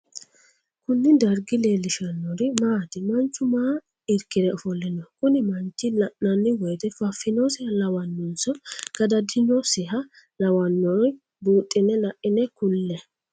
Kunni dargi leelishanori maati? Manchu maa irkire ofole no? Kunni manchi la'nanni woyite fafinosiha lawanonso gadadinosiha lawanori buuxine Laine kulle?